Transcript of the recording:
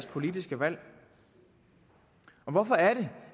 politiske valg hvorfor er det